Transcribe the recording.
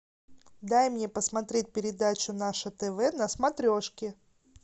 дай мне посмотреть передачу наше тв на смотрешке